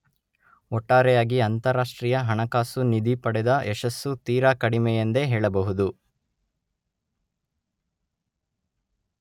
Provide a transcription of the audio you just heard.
ಒಟ್ಟಾರೆಯಾಗಿ ಅಂತರರಾಷ್ಟ್ರೀಯ ಹಣಕಾಸು ನಿಧಿ ಪಡೆದ ಯಶಸ್ಸು ತೀರಾ ಕಡಿಮೆ ಎಂದೇ ಹೇಳಬಹುದು.